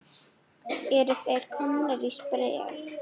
Eru þeir komnir í spreng?